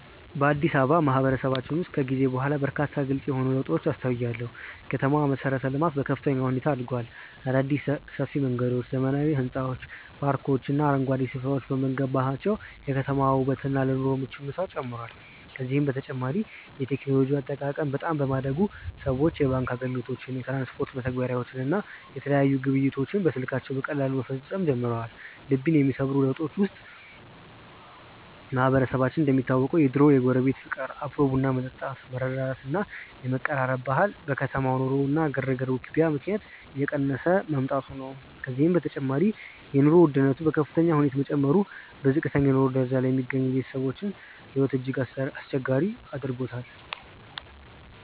በአዲስ አበባ ማህበረሰባችን ውስጥ ከጊዜ በኋላ በርካታ ግልጽ የሆኑ ለውጦችን አስተውያለሁ። የከተማዋ መሠረተ-ልማት በከፍተኛ ሁኔታ አድጓል። አዳዲስ ሰፊ መንገዶች፣ ዘመናዊ ሕንፃዎች፣ ፓርኮችና አረንጓዴ ስፍራዎች በመገንባታቸው የከተማዋ ውበትና ለኑሮ ምቹነቷ ጨምሯል። ከዚህም በተጨማሪ የቴክኖሎጂ አጠቃቀም በጣም በማደጉ ሰዎች የባንክ አገልግሎቶችን፣ የትራንስፖርት መተግበሪያዎችን እና የተለያዩ ግብይቶችን በስልካቸው በቀላሉ መፈጸም ጀምረዋል። ልብን የሚሰብሩ ለውጦች ውስጥ ማህበረሰባችን የሚታወቅበት የድሮው የጎረቤት ፍቅር፣ አብሮ ቡና መጠጣት፣ መረዳዳት እና የመቀራረብ ባህል በከተማ ኑሮ ግርግርና ውክቢያ ምክንያት እየቀነሰ መምጣቱ ነው። ከዚህም በተጨማሪ የኑሮ ውድነቱ በከፍተኛ ሁኔታ መጨመሩ በዝቅተኛ የኑሮ ደረጃ ላይ የሚገኙ ቤተሰቦችን ሕይወት እጅግ አስቸጋሪ አድርጎታል።